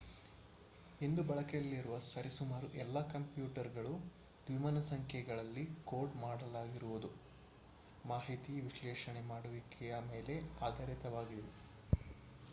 ಇಂದು ಬಳಕೆಯಲ್ಲಿರುವ ಸರಿಸುಮಾರು ಎಲ್ಲ ಕಂಪ್ಯೂಟರ್‌ಗಳೂ ದ್ವಿಮಾನ ಸಂಖ್ಯೆಗಳಲ್ಲಿ ಕೋಡ್ ಮಾಡಲಾಗಿರುವ ಮಾಹಿತಿ ವಿಶ್ಲೇಷಣೆ ಮಾಡುವಿಕೆಯ ಮೇಲೆ ಆಧಾರಿತವಾಗಿವೆ